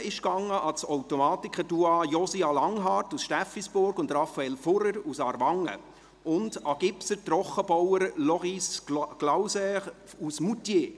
Bronze ging an das Automatikerduo Josia Langhart und Raphael Fuhrer aus Aarwangen und an den Gipser/Trockenbauer Loris Glauser aus Moutier.